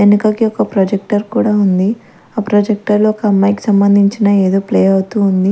ఎనకకి ఒక ప్రొజెక్టర్ కూడ ఉంది ఆ ప్రొజెక్టర్ లో ఒకమ్మాయికి సంబంధించిన ఎదో ప్లే అవుతూ ఉంది.